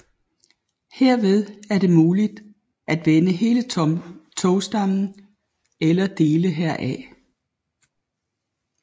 Herved er det muligt at vende hele togstammen eller dele heraf